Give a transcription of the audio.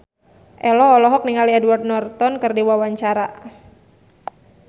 Ello olohok ningali Edward Norton keur diwawancara